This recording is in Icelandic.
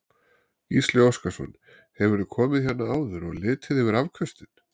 Gísli Óskarsson: Hefurðu komið hérna áður og litið yfir afköstin?